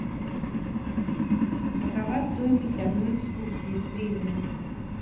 какова стоимость одной экскурсии в среднем